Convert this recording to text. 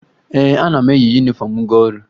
Ee, ana m eyi yunifọmụ m aga ọrụ